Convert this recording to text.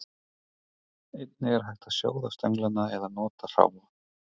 Einnig er hægt að sjóða stönglana eða nota hráa.